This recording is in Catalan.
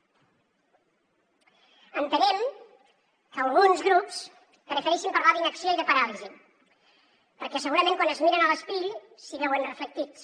entenem que alguns grups prefereixin parlar d’inacció i de paràlisi perquè segurament quan es miren a l’espill s’hi veuen reflectits